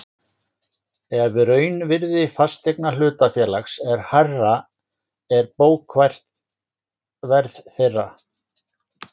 ef raunvirði fasteigna hlutafélags er hærra er bókfært verð þeirra.